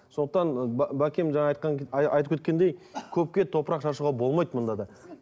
сондықтан бәкем жаңа айтқан айтып кеткендей көпке топырақ шашуға болмайды мұнда да